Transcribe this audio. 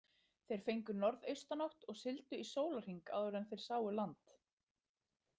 Þeir fengu norðaustanátt og sigldu í sólarhring áður en þeir sáu land.